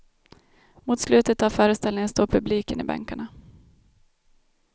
Mot slutet av föreställningen står publiken i bänkarna.